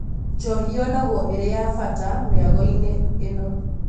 Njohi yonagwo ĩrĩ ya bata mĩagoinĩ ĩno.